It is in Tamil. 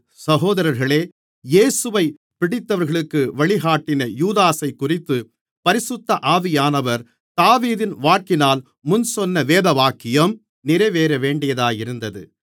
சகோதரர்களே இயேசுவைப் பிடித்தவர்களுக்கு வழிகாட்டின யூதாசைக்குறித்துப் பரிசுத்த ஆவியானவர் தாவீதின் வாக்கினால் முன்சொன்ன வேதவாக்கியம் நிறைவேறவேண்டியதாயிருந்தது